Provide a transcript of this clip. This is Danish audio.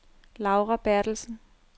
Laura Berthelsen